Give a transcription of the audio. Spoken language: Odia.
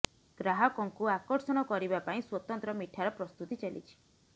ଗ୍ରାହକଙ୍କୁ ଆକର୍ଷଣ କରିବା ପାଇଁ ସ୍ୱତନ୍ତ୍ର ମିଠାର ପ୍ରସ୍ତୁତି ଚାଲିଛି